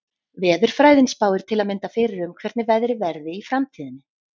Veðurfræðin spáir til að mynda fyrir um hvernig veðrið verði í framtíðinni.